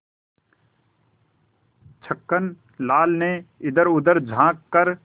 छक्कन लाल ने इधरउधर झॉँक कर